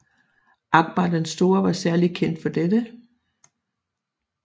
Akbar den Store var særlig kendt for dette